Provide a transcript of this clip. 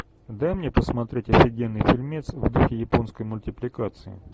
дай мне посмотреть офигенный фильмец в духе японской мультипликации